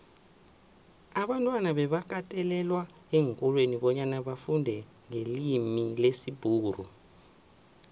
abantwana bebakatelelwa eenkolweni bonyana bafundenqelimilesibhuxu